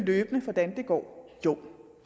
hvordan det går jo